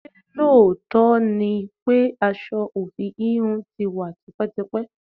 Ṣé lóòótọ́ ni pé aṣọ ofi íhùn tí wá tipẹ́tipẹ́?